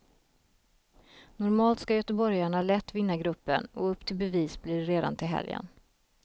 Normalt ska göteborgarna lätt vinna gruppen, och upp till bevis blir det redan till helgen.